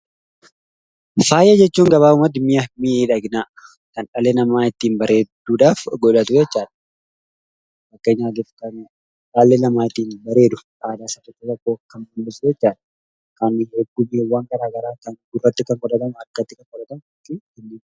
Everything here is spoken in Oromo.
Faaya jechuun mi'a miidhaginaa kan dhalli namaa ittiin bareeduudhaaf godhatu jechuudha. Fakkeenyaaf kan harkatti, mormatti, gurratti godhatamu kaasuu dandeenya.